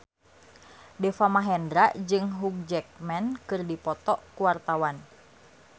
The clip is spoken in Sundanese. Deva Mahendra jeung Hugh Jackman keur dipoto ku wartawan